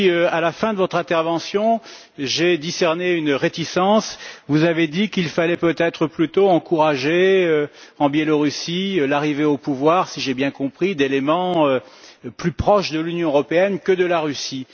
À la fin de votre intervention, j'ai discerné une réticence vous avez dit qu'il fallait peut être plutôt encourager, en Biélorussie, l'arrivée au pouvoir, si j'ai bien compris, d'éléments plus proches de l'Union européenne que de la Russie.